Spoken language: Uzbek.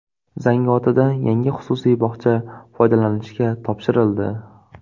Zangiotada yangi xususiy bog‘cha foydalanishga topshirildi.